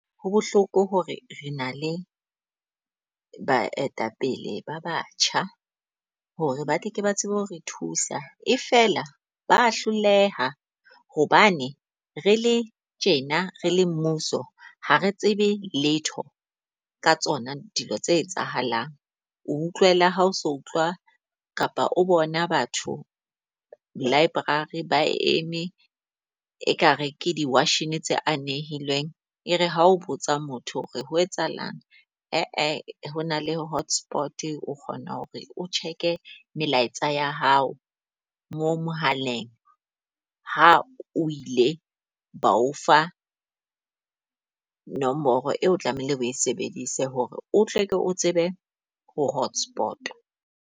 Ho bohloko hore re na le baetapele ba batjha hore ba tle ke ba tsebe ho re thusa, e fela ba hloleha hobane re le tjena re le mmuso, ha re tsebe letho ka tsona dilo tse etsahalang. O utlwela ha ha o so utlwa kapa o bona batho library ba eme e kare ke di washene tse anehilweng. E re ha o botsa motho hore ho etsahalang, aa hona le hotspot o kgona hore o check-e melaetsa ya hao mo mohaleng. Ha o ile ba o fa nomoro eo, o tlamehile o e sebedise hore o tleke o tsebe ho hotspot-wa.